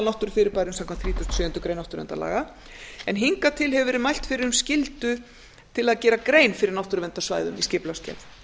náttúrufyrirbærum samkvæmt þrítugustu og sjöundu grein náttúruverndarlaga en hingað til hefur verið mælt fyrir um skyldu til að gera grein fyrir náttúruverndarsvæðum við skipulagsgerð